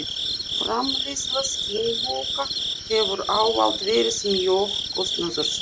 Framleiðsla skinnbóka hefur ávallt verið mjög kostnaðarsöm.